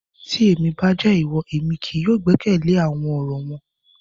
Ti emi ba jẹ iwọ, emi kii yóò gbẹkẹle awọn ọrọ wọn